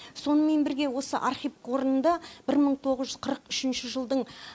сонымен бірге осы архив қорында бір мың тоғыз жүз қырық үшінші жылдың